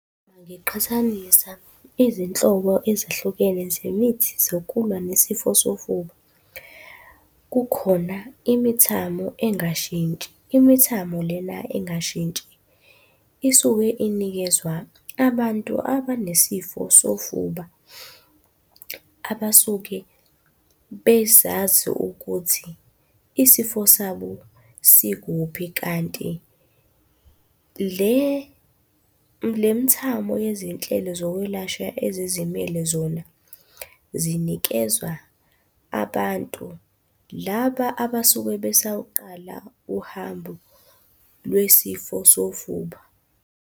Ngiqhathanisa izinhlobo ezahlukene zemithi zokulwa nesifo sofuba. Kukhona imithamo engashintshi, imithamo lena engashintshi isuke inikezwa abantu abanesifo sofuba, abasuke bezazi ukuthi isifo sabo sikuphi kanti le mithamo yezinhlelo zokwelashwa ezizimele zona zinikezwa abantu laba abasuke besawuqala uhambo lwesifo sofuba.